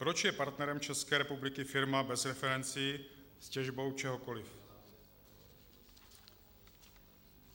Proč je partnerem České republiky firma bez referencí s těžbou čehokoliv?